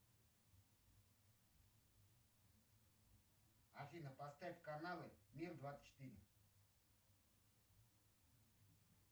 афина поставь каналы мир двадцать четыре